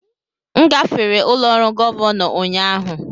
M gafere ụlọ ọrụ Gọvanọ ụnyahụ.